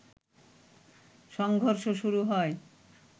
সংঘর্ষ শুরু হয়